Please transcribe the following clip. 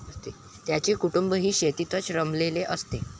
त्यांचे कुटुंबही शेतीतच रमलेले असते.